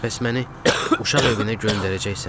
Bəs məni uşaq evinə göndərəcəksən?